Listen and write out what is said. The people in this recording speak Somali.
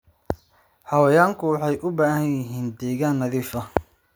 Xayawaanku waxay u baahan yihiin deegaan nadiif ah.